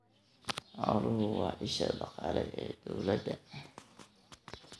Xooluhu waa isha dhaqaale ee dawladda.